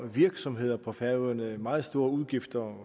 virksomheder på færøerne meget store udgifter